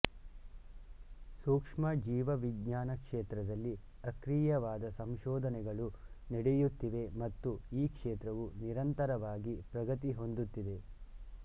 ಸೂಕ್ಷ್ಮ ಜೀವವಿಜ್ಞಾನ ಕ್ಷೇತ್ರದಲ್ಲಿ ಅಕ್ರಿಯವಾದ ಸಂಶೋಧನೆಗಳು ನಡೆಯುತ್ತಿವೆ ಮತ್ತು ಈ ಕ್ಷೇತ್ರವು ನಿರಂತರವಾಗಿ ಪ್ರಗತಿ ಹೊಂದುತ್ತಿದೆ